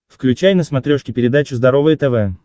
включай на смотрешке передачу здоровое тв